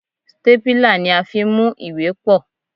Stépìlà ni a fi ń mú ìwé pọ̀.